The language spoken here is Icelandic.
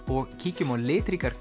og kíkjum á litríkar